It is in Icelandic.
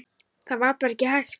Það var bara ekki hægt.